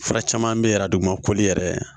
Fura caman bɛ yen arajo ma koli yɛrɛ